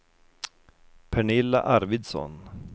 Pernilla Arvidsson